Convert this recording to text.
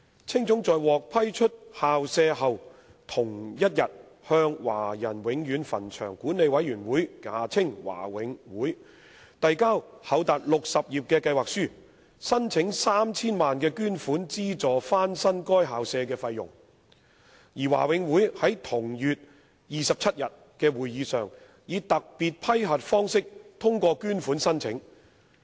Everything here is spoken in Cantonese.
青總在獲批出校舍後同日向華人永遠墳場管理委員會遞交厚達60頁的計劃書，申請 3,000 萬元捐款資助翻新該校舍的費用，而華永會在同月27日的會議上以特別批核方式通過捐款申請。